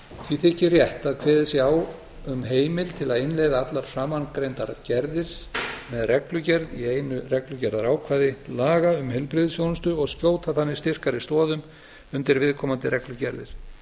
því þykir rétt að kveðið sé á um heimild til að innleiða allar framangreindar gerðir með reglugerð í einu reglugerðarákvæði laga um heilbrigðisþjónustu og skjóta þannig styrkari stoðum undir viðkomandi reglugerðir